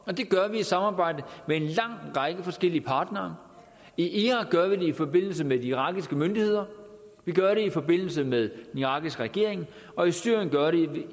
og det gør vi i samarbejde med en lang række forskellige partnere i irak gør vi det i forbindelse med de irakiske myndigheder vi gør det i forbindelse med den irakiske regering og i syrien gør vi